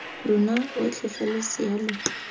lona otlhe fa losea lo